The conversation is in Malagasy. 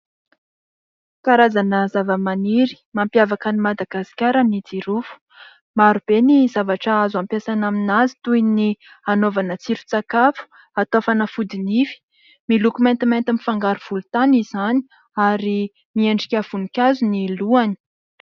Karazana zavamaniry mampiavaka an'i Madagasikara ny jirofo. Maro be ny zavatra azo ampiasaina aminazy toy ny anaovana tsiron-tsakafo, atao fanafody nify. Miloko maintimainty mifangaro volontany izany ary miendrika voninkazo ny lohany.